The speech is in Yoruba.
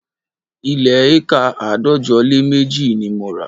Ilẹ̀ éékà àádọ́jọ lé méjì ni mo rà